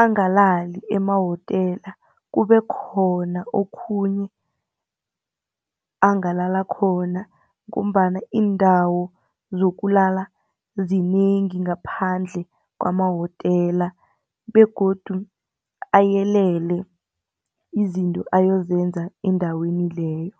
angalali emawotela kube khona okhunye angalala khona ngombana iindawo zokulala zinengi ngaphandle kwamawotela begodu ayelele izinto ayozenza endaweni leyo.